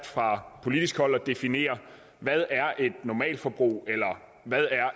fra politisk hold er definere hvad et normalforbrug eller